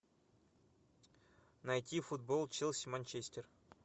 найти футбол челси манчестер